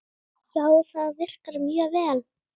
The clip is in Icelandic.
Já, það virkar mjög vel.